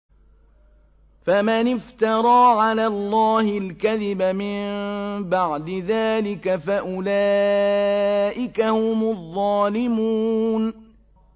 فَمَنِ افْتَرَىٰ عَلَى اللَّهِ الْكَذِبَ مِن بَعْدِ ذَٰلِكَ فَأُولَٰئِكَ هُمُ الظَّالِمُونَ